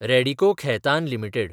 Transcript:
Radico Khaitan limited